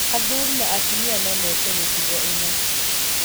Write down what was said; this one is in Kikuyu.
Athuri na atumia no meke mĩtugo ĩno.